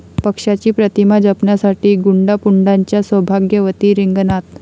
पक्षाची प्रतिमा जपण्यासाठी गुंडापुंडांच्या सौभाग्यवती रिंगणात